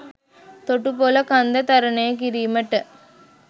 තොටුපොල කන්ද තරණය කිරීමට